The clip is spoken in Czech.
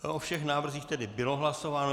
O všech návrzích tedy bylo hlasováno.